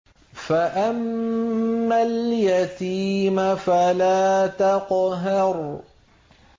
فَأَمَّا الْيَتِيمَ فَلَا تَقْهَرْ